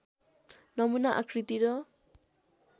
नमुना आकृति र